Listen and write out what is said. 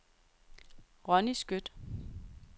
Ronni Skøtt